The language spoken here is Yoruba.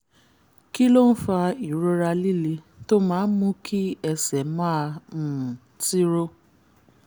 kí ló ń fa ìrora líle tó máa ń mú kí ẹsẹ̀ máa um tiro?